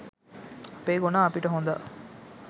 අපේ ගොනා අපිට හොඳා